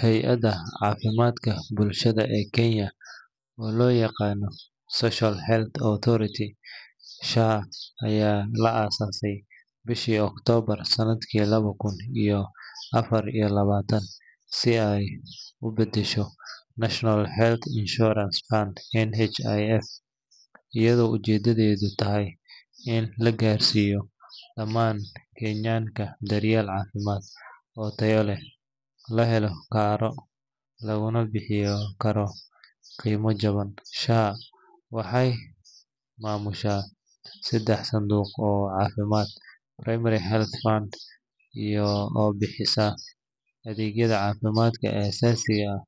Hay’adda Caafimaadka Bulshada ee Kenya, oo loo yaqaan Social Health Authority (SHA), ayaa la aasaasay bishii Oktoobar sanadkii laba kun iyo afar iyo labaatan si ay u beddesho National Health Insurance Fund (NHIF), iyadoo ujeedadeedu tahay in la gaarsiiyo dhammaan Kenyanka daryeel caafimaad oo tayo leh, la heli karo, laguna bixin karo qiimo jaban. SHA waxay maamushaa saddex sanduuq oo caafimaad: Primary Healthcare Fund oo bixiya adeegyada caafimaadka aasaasiga ah